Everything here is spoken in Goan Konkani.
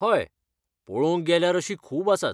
हय, पळोवंक गेल्यार अशीं खूब आसात.